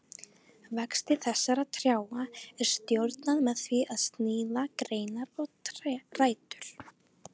Vexti þessara trjáa er stjórnað með því að sníða af greinar og rætur.